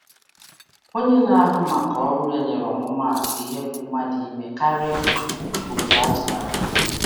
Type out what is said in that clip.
Onye na-ahụ maka ọrụ ya nyere ihe atụ iji gosi ihe ọ pụtara I mee I mee karịa etu eleranya